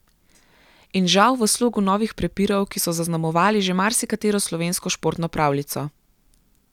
In žal v slogu novih prepirov, ki so zaznamovali že marsikatero slovensko športno pravljico.